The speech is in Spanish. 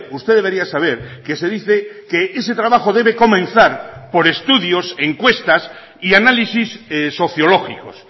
usted debería saber que se dice que ese trabajo debe comenzar por estudios encuestas y análisis sociológicos